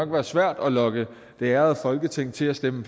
være svært at lokke det ærede folketing til at stemme